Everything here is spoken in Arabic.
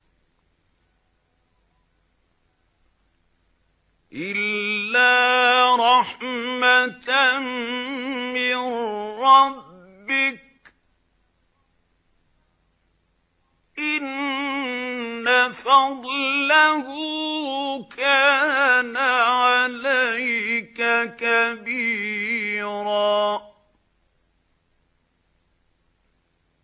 إِلَّا رَحْمَةً مِّن رَّبِّكَ ۚ إِنَّ فَضْلَهُ كَانَ عَلَيْكَ كَبِيرًا